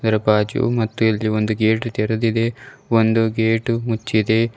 ಅದರ ಬಾಜು ಮತ್ತು ಇಲ್ಲಿ ಒಂದು ಗೇಟು ತೆರೆದಿದೆ ಒಂದು ಗೇಟು ಮುಚ್ಚಿದೆ.